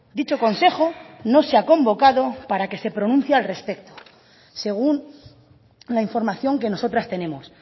dicho consejo no se ha convocado para que se pronuncie al respecto según la información que nosotras tenemos